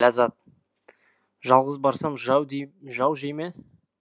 ләззат жалғыз барсам жау жей ме